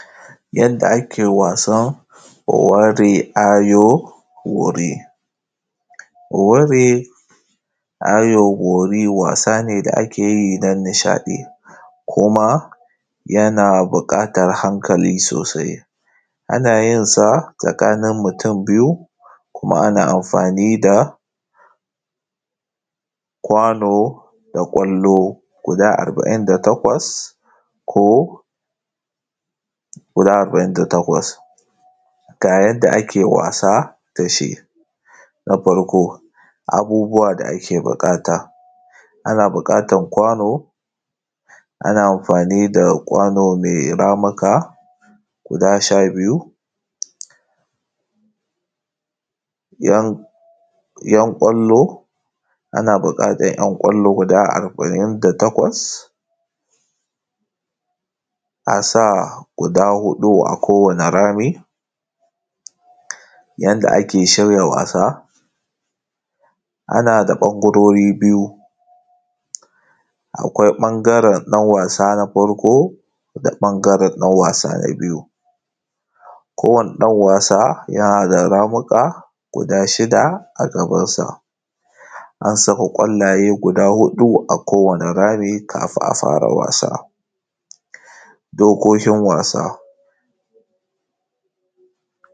yanda ake wasan ware ajo ware. Ware wari ajo wari wasa ne, da akeyi don nishaɗi. Kuma naya buƙatar hankali sosai. Anayinsa tsakanin mutum biyu kuma ana amfani da kwano da kwallo, guda arbaƙin da takwas. Ko guda arba’in da takwas. Ga yadda ake wasa dashi. Na farko abubuwa da ake buƙata. Ana buƙatar kwano, ana amfani da kwano mai ramuka guda sha biyu Yan kwallo, ana buƙatar yan kwallo guda arba’in da takwas. asa guda huɗu akowane rami. Yanda ake shirya wasa Anada ɓangarori biyu, akwai ɓangaren ɗan wasa na farko, da ɓangaren ɗan wasa na biyu. kowane ɗan wasa yanada ramuka, guda shida a gabansa. Ansaka kwallaye hudu a kowane rami, kafun afara wasa.